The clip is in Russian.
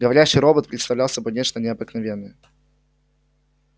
говорящий робот представлял собой нечто необыкновенное